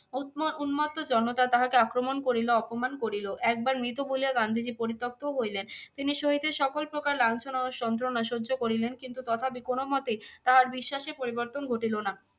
উত্ম~ উন্মত্ত জনতা তাহাকে আক্রমণ করিল অপমান করিল। একবার মৃত বলিয়া গান্ধীজী পরিতক্তও হইলেন। তিনি শহীদের সকল প্রকার লাঞ্ছনা ও সন্ত্রনা সহ্য করিলেন কিন্তু তথাপি কোনো মতেই তাহার বিশ্বাসে পরিবর্তন ঘটিলো না।